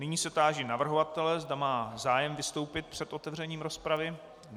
Nyní se táži navrhovatele, zda má zájem vystoupit před otevřením rozpravy.